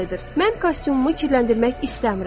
Mən kostyumumu kirləndirmək istəmirəm.